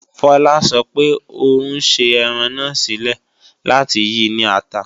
Fola sọ pé ò ń ṣe ẹran náà sílẹ̀ láti yi ní ata